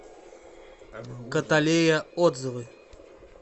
каталея отзывы